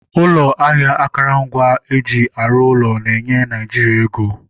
Ụlọ ahịa akụrụngwa eji arụ ụlọ na-enye Naịjiria ego.